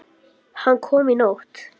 Hann kom í nótt.